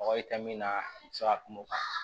Mɔgɔ ye ka min na i bi se ka kuma o kan